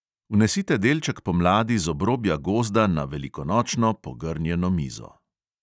Vnesite delček pomladi z obrobja gozda na velikonočno pogrnjeno mizo.